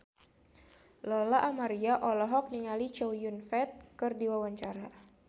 Lola Amaria olohok ningali Chow Yun Fat keur diwawancara